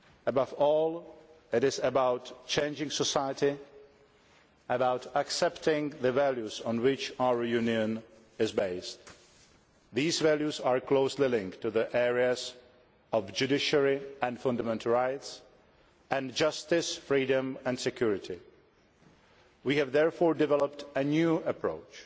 Above all it is about changing society, about accepting the values on which our Union is based. These values are closely linked to the areas of Judiciary and fundamental rights' and Justice, Freedom and Security'. We have therefore developed a new approach